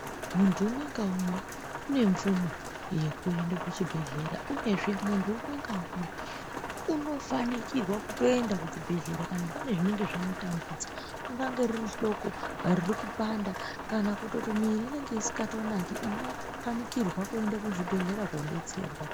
Munthu umwe ngaumwe une mvumo yekuenda kuchibhedhlera uyezve munthu umwe ngaumwe unofanikirwa kutoenda kuchibhehlera kana pane zvinonge zvamutambudza ungange riri hloko riri kupanda kana kutoti miri inonge isikatonaki unopanikirwa kuenda kuchibhedhlera koobatsirwa.